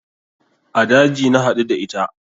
A daji na haɗu da ita